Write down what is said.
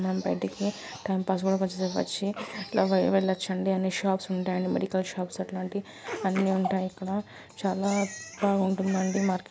మనం బయటకి time pass కొంచంసేపు వచ్చి అట్లా వెళ్ళచ్చు ఆండీ అన్నీ షాప్ ఉంటాయి మెడికల్ షాప్స్ అట్లాంటివి అన్నీఉంటాయి ఇక్కడ చాలా బాగుంటుంది ఆండీ మార్కెట్--